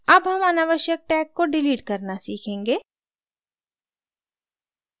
अब हम अनावश्यक tag को डिलीट करना सीखेंगे